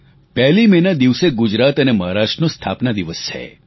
પહેલી મેના દિવસે ગુજરાત અને મહારાષ્ટ્રનો સ્થાપના દિવસ છે